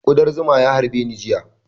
Kuɗan zuma ya harbe ni jiya